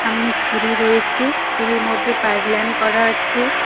সামনে সিঁড়ি রয়েছে সিঁড়ির মধ্যে পাইব লাইন করা আছে।